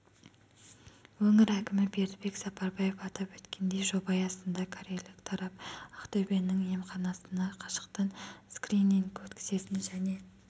өңір әкімі бердібек сапарбаев атап өткендей жоба аясында корейлік тарап ақтөбенің емханасына қашықтан скрининг өткізетін және